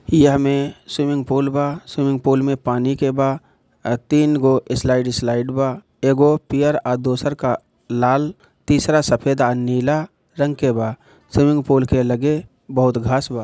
यहाँ पर swimming pool बा | स्विमिंग पुल मे पानि कबा तीन गो स्लाईड - स्लाईड बा एगो पियर अ दोसरका लाल तीसरा सफेद और अ नीला रंग के बा | स्विमिंग पुल मे लगे बहुत घास बा|